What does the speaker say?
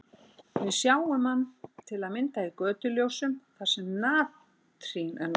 Við sjáum hann til að mynda í götuljósum þar sem natrín er notað.